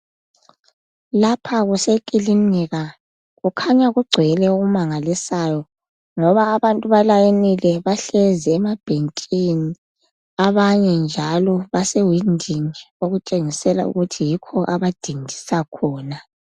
lapha kusekilinika kukhanya kugcwele okumangalisayo ngoba abantu balayinile bahlezi emabhentshini abanye njalo base windini okutshengisela ukuthi yikho abadindisa khona